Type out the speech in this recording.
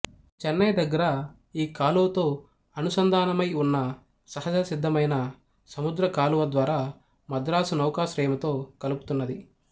చెన్నై దగ్గర ఈ కాలువ తో అనుసంధానమైన ఉన్న సహజ సిద్ధమైన సముద్రపు కాలువ ద్వారా మద్రాసు నౌకాశ్రయముతో కలుపుతున్నది